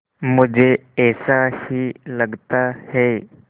मुझे ऐसा ही लगता है